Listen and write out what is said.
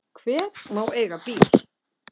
Hver má eiga bíl?